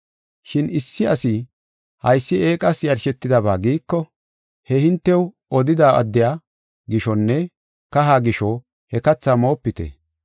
Shin issi asi, “Haysi eeqas yarshetidaba” giiko, he hintew odida addiya gishonne kaha gisho he katha moopite.